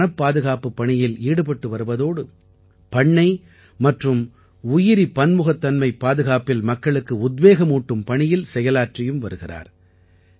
இவர் வனப்பாதுகாப்புப் பணியில் ஈடுபட்டு வருவதோடு பண்ணை மற்றும் உயிரிபன்முகத்தன்மைப் பாதுகாப்பில் மக்களுக்கு உத்வேகமூட்டும் பணியில் செயலாற்றியும் வருகிறார்